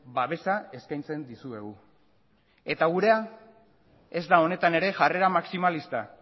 babesa eskaintzen dizuegu eta gurea ez da honetan ere jarrera maximalista